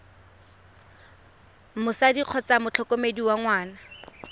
motsadi kgotsa motlhokomedi wa ngwana